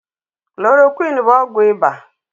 Klorokwinin bụ ọgwụ iba